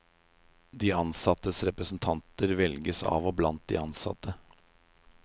De ansattes representanter velges av og blant de ansatte.